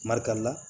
Marika la